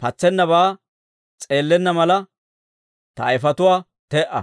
Patsennabaa s'eellenna mala, ta ayifetuwaa te"a;